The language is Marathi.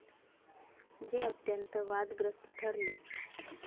जे अत्यंत वादग्रस्त ठरले.